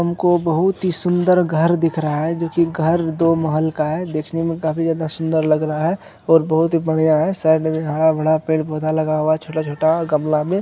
हमको बहुत ही सुंदर घर दिख रहा है जो कि घर दो महल का है देखने में काफी ज्यादा सुंदर लग रहा है और बहुत ही बढ़िया है साइड में हरा-भरा पेड़-पौधा लगा हुआ हैं छोटा-छोटा गमला में।